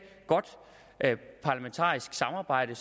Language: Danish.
godt parlamentarisk samarbejde